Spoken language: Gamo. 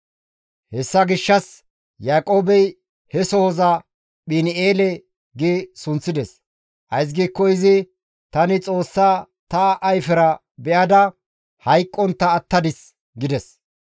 Hessa gishshas Yaaqoobey he sohoza Phin7eele gi sunththides; ays giikko izi, «Tani Xoossaa ta ayfera be7ada hayqqontta attadis» gides.